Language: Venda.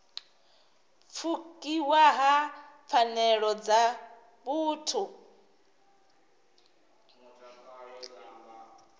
pfukiwa ha pfanelo dza vhuthu